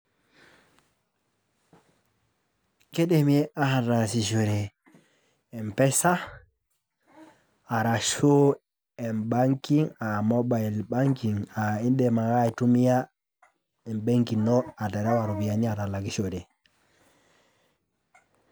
Kidimi ataasishore M-PESA, arashu m-bankig ah mobile banking ,ah idim ake aitumia ebenki ino aterewa ropiyiani atalakishore.